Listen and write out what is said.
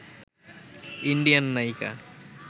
Indian নায়িকা